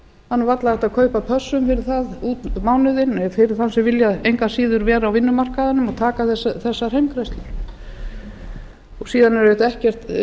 nú varla hægt að kaupa pössun fyrir það út mánuðinn fyrir þá sem vilja engu að síður vera á vinnumarkaðnum og taka þessar heimgreiðslur síðan er auðvitað